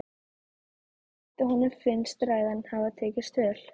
Hún veit að honum finnst ræðan hafa tekist vel.